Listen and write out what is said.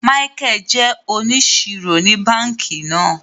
Michael jé òníṣírò ní bánkì náà